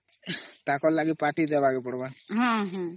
ତାଙ୍କର ଲାଗି party ଦେବାକେ ପଡିବ ନ